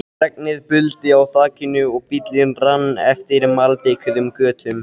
Regnið buldi á þakinu og bíllinn rann eftir malbikuðum götunum.